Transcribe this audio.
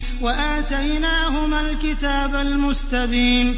وَآتَيْنَاهُمَا الْكِتَابَ الْمُسْتَبِينَ